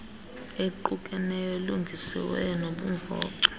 equkeneyo elungisiweyo nenobumvoco